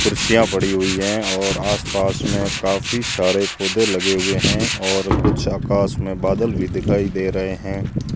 कुर्सियां पड़ी हुई है और आसपास में काफी सारे पौधे लगे हुए हैं और कुछ आकाश में बादल भी दिखाई दे रहे हैं।